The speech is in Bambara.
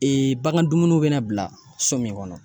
bagan dumuniw bɛna bila so min kɔnɔ